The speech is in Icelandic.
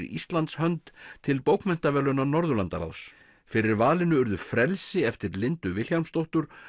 Íslands hönd til bókmenntaverðlauna Norðurlandaráðs fyrir valinu urðu frelsi eftir Lindu Vilhjálmsdóttur